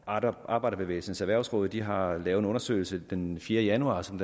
arbejderbevægelsens erhvervsråd de har lavet en undersøgelse den fjerde januar som